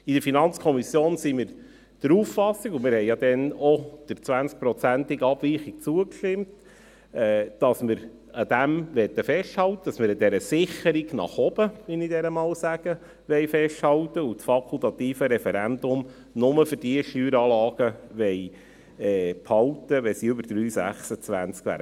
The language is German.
In der FiKo sind wir der Auffassung – und wir haben ja damals auch der 20prozentigen Abweichung zugestimmt –, dass wir daran festhalten möchten, dass wir an dieser Sicherung nach oben, wie ich sie einmal nenne, festhalten wollen und das fakultative Referendum nur für diejenigen Steueranlagen behalten wollen, die über 3,26 wären.